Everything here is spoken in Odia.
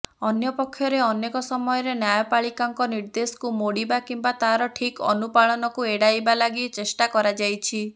ଅନ୍ୟପକ୍ଷରେ ଅନେକ ସମୟରେ ନ୍ୟାୟପାଳିକାଙ୍କ ନିର୍ଦ୍ଦେଶକୁ ମୋଡ଼ିବା କିମ୍ବା ତାର ଠିକ ଅନୁପାଳନକୁ ଏଡ଼ାଇବା ଲାଗି ଚେଷ୍ଟା କରାଯାଇଛି